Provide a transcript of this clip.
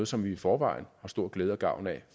som vi i forvejen har stor glæde og gavn af